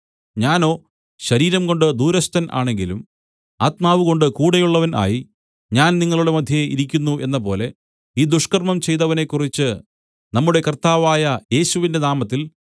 ഞാനോ ശരീരംകൊണ്ട് ദൂരസ്ഥൻ ആണെങ്കിലും ആത്മാവുകൊണ്ട് കൂടെയുള്ളവൻ ആയി ഞാൻ നിങ്ങളുടെ മദ്ധ്യേ ഇരിക്കുന്നു എന്നപോലെ ഈ ദുഷ്കർമ്മം ചെയ്തവനെക്കുറിച്ച് നമ്മുടെ കർത്താവായ യേശുവിന്റെ നാമത്തിൽ